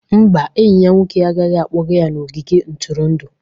Mba, enyi ya nwoke agaghị akpọga ya n'ogige ntụrụndụ